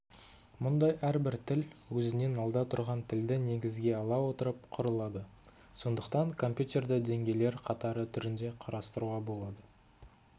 мұндай әрбір тіл өзінен алда тұрған тілді негізге ала отырып құрылады сондықтан компьютерді деңгейлер қатары түрінде қарастыруға болады